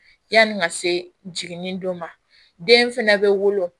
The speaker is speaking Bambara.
Yanni ka se jiginni don ma den fɛnɛ bɛ wolo